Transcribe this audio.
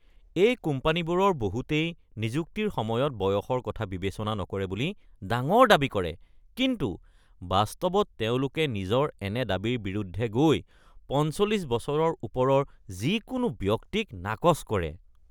এই কোম্পানীবোৰৰ বহুতেই নিযুক্তিৰ সময়ত বয়সৰ কথা বিবেচনা নকৰে বুলি ডাঙৰ দাবী কৰে কিন্তু বাস্তৱত তেওঁলোকে নিজৰ এনে দাবীৰ বিৰুদ্ধে গৈ ৪৫ বছৰৰ ওপৰৰ যিকোনো ব্যক্তিক নাকচ কৰে।